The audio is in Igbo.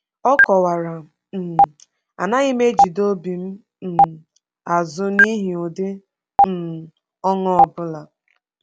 Ọ kọwara: um “Anaghị m ejide obi m um azụ n’ihi ụdị um ọṅụ ọ bụla.”